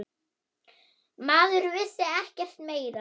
Maður vissi ekkert meira.